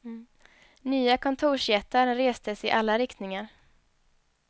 Nya kontorsjättar restes i alla riktningar.